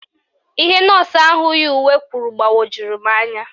Ihe nọọsụ ahụ yi uwe kwuru gbawojuru m anya